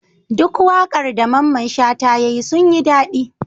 Duk waƙar da mamman shata yayi sun yin dadi